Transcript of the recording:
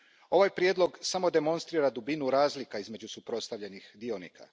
Ovaj prijedlog samo demonstrira dubinu razlika između suprotstavljenih dionika.